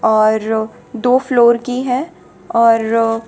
और दो फ्लोर की है और--